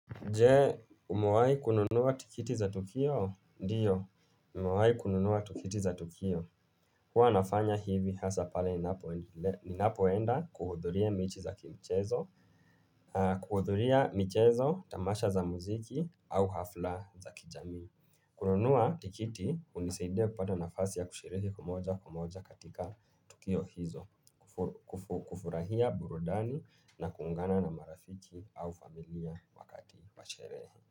Je, umawahi kununua tikiti za tukio? Ndio, nimewahi kununua tikiti za tukio. Huwa nafanya hivi hasa pale ninapoenda kuhudhuria mechi za kimchezo, kuhudhuria michezo, tamasha za muziki au hafla za kijamii. Kununua tikiti, hunisaidia kupata nafasi ya kushiriki moja kwa moja katika tukio hizo, kufurahia burudani na kuungana na marafiki au familia wakati wa sherehe.